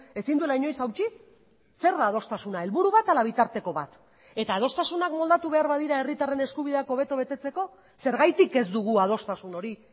ezin duela inoiz hautsi zer da adostasuna helburu bat ala bitarteko bat eta adostasunak moldatu behar badira herritarren eskubideak hobeto betetzeko zergatik ez dugu adostasun hori